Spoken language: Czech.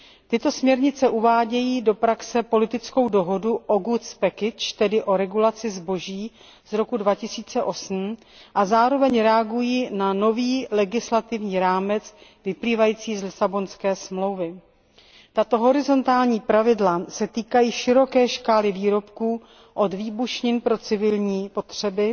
Tyto směrnice uvádějí do praxe politickou dohodu o regulaci zboží z roku 2008 a zároveň reagují na nový legislativní rámec vyplývající z Lisabonské smlouvy. Tato horizontální pravidla se týkají široké škály výrobků od výbušnin pro civilní potřeby